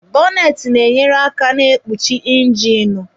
Bọnetị na-enyere aka na ikpuchi injinu.